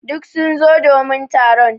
Duk sun zo domin taron.